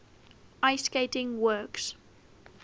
ice skating works